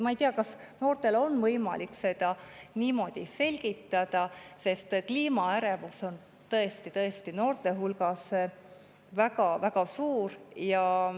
Ma ei tea, kas noortele on võimalik seda niimoodi selgitada, sest kliimaärevus on noorte hulgas tõesti-tõesti väga suur.